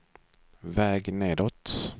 väg nedåt